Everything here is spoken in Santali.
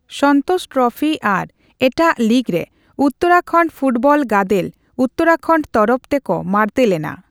ᱥᱚᱱᱛᱳᱥ ᱴᱨᱚᱯᱷᱤ ᱟᱨ ᱮᱴᱟᱜ ᱞᱤᱜᱽ ᱨᱮ ᱩᱛᱛᱚᱨᱟᱠᱷᱚᱱᱰ ᱯᱷᱩᱴᱵᱚᱞ ᱜᱟᱫᱮᱞ ᱩᱛᱛᱚᱨᱟᱠᱷᱚᱱᱰ ᱛᱚᱨᱚᱯᱷ ᱛᱮᱠᱚ ᱢᱟᱲᱛᱮ ᱞᱮᱱᱟ ᱾